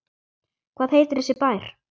Hvað heitir þessi bær?